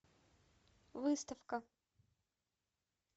выставка